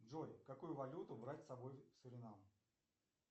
джой какую валюту брать с собой в суринам